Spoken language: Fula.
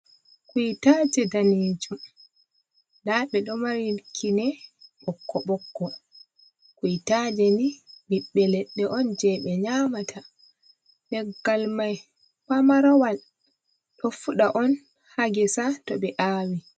Kuitaje daneejum nda ɓe ɗo mari kinee ɓokko ɓokko, kuitaje ni ɓiɓɓe leɗɗe on jei ɓe nyamata leggal mai pamarawal ɗo fuɗa on ha gesa to ɓe aawi.